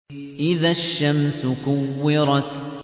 إِذَا الشَّمْسُ كُوِّرَتْ